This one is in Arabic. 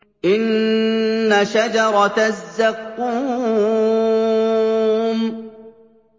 إِنَّ شَجَرَتَ الزَّقُّومِ